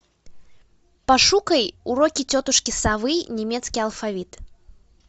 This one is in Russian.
пошукай уроки тетушки совы немецкий алфавит